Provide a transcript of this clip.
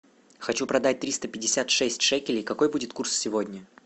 хочу продать триста пятьдесят шесть шекелей какой будет курс сегодня